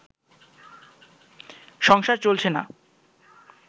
সংসার চলছে না